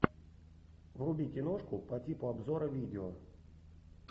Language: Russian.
вруби киношку по типу обзора видео